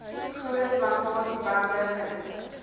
groot plantasiebrande vind